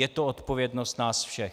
Je to odpovědnost nás všech.